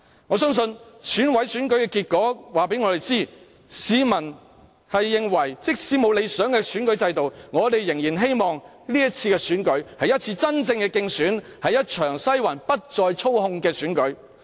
我相信選委會選舉的結果告知我們，市民認為，即使沒有理想的選舉制度，但仍然希望這次選舉會是一次真正的競選，是一場不再被西環操控的選舉。